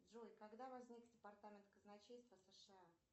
джой когда возник департамент казначейства сша